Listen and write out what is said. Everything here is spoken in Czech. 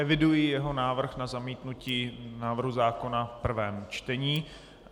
Eviduji jeho návrh na zamítnutí návrhu zákona v prvém čtení.